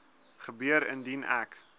gebeur indien ek